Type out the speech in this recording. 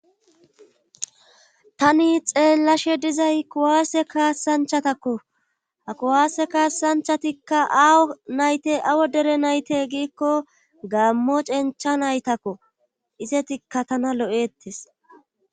Tani xeellashe dizay kuwaasse kaassanchatakko ha kuwaasse kaassanchatikka awo nayte awo dere nayte giikko gammo cencha naytakko isetikka tana lo'ettes.